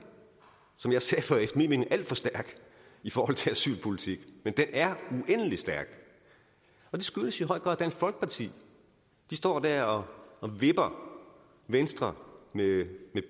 som jeg sagde før er mening alt for stærk i forhold til asylpolitik men den er uendelig stærk og det skyldes i høj grad dansk folkeparti de står dér og og vipper venstre med